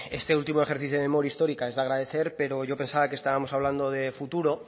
este último ejercicio de memoria histórica es de agradecer pero yo pensaba que estábamos hablando de futuro